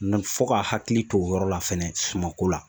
Fo ka hakili to o yɔrɔ la fɛnɛ suma ko la.